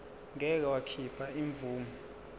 ngeke wakhipha imvume